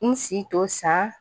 N si to san